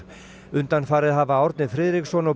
undanfarið hafa Árni Friðriksson og